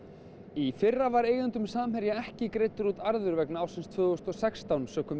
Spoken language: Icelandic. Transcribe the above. í fyrra var eigendum Samherja ekki greiddur út arður vegna ársins tvö þúsund og sextán sökum